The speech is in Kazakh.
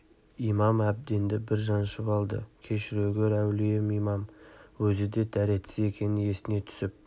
имам әбденді бір жаншып алды кешіре гөр әулием имам өзі де дәретсіз екені есіне түсіп